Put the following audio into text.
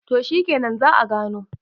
to shikenan za `a gano